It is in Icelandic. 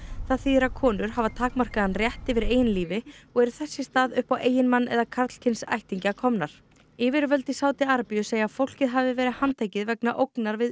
þýðir að konur hafa takmarkaðan rétt yfir eigin lífi og eru þess í stað upp á eiginmann eða karlkyns ættingja komnar yfirvöld í Sádi Arabíu segja að fólkið hafi verið handtekið vegna ógnar við